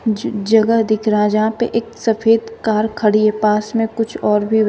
ज जगह दिख रहा है जहां पे एक सफेद कार खड़ी है पास में कुछ और भी व्ही--